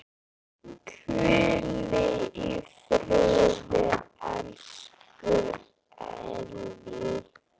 Hvíl í friði, elsku Elli.